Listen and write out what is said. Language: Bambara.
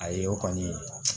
Ayi o kɔni